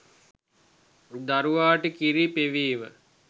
දරුවාට කිරි පෙවීම